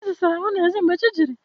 Eze sara ahụ n'ezi mgbe chi jiri